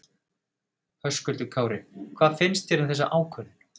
Höskuldur Kári: Hvað finnst þér um þessa ákvörðun?